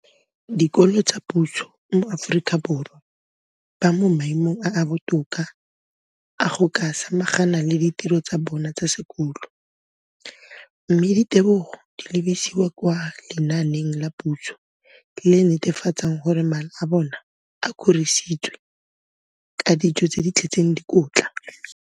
Dikolo tsa puso mo Aforika Borwa ba mo maemong a a botoka a go ka samagana le ditiro tsa bona tsa sekolo, mme ditebogo di lebisiwa kwa lenaaneng la puso le le netefatsang gore mala a bona a kgorisitswe ka dijo tse di tletseng dikotla.